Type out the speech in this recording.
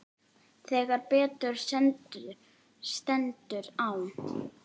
Þegar betur stendur á